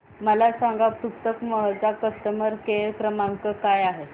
मला सांगा पुस्तक महल चा कस्टमर केअर क्रमांक काय आहे